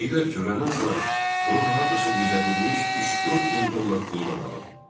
Deyirlər ki, öləndən sonra onun hardasa gizlədilmiş 3-4 min dollar pulu da qalıb.